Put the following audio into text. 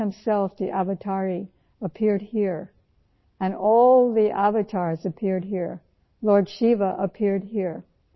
بھارت کو ، جو چیز عظیم بناتی ہیں ، وہ حقیقت یہ ہے کہ کرشنا خود اوتار لے کر یہاں آئے اور سبھی اوتار یہاں پہنچے